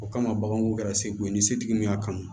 O kama baganw kɛra segu ye ni setigi min y'a kanu